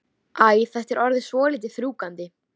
Ég hafði alltaf mikla samkennd með tófunni.